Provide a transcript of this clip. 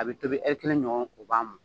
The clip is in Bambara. A bɛ tobi e kɛnɛ ɲɔgɔn o b'a ma